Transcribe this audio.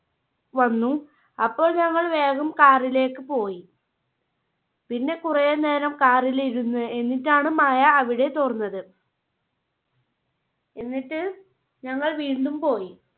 വന്നു അപ്പോൾ ഞങ്ങൾ വേഗം Car ലേക്ക് പോയി. പിന്നെ കുറെ നേരം Car ല് ഇരുന്ന് എന്നിട്ടാണ് മഴ അവിടെ തോർന്നത്. എന്നിട്ട് ഞങ്ങൾ വീണ്ടും പോയി